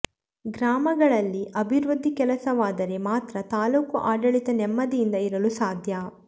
ಗ್ರಾಮಗಳಲ್ಲಿ ಅಭಿವೃದ್ಧಿ ಕೆಲಸವಾದರೆ ಮಾತ್ರ ತಾಲೂಕು ಆಡಳಿತ ನೆಮ್ಮದಿಯಿಂದ ಇರಲು ಸಾಧ್ಯ